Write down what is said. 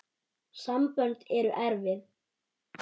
Sambönd eru erfið!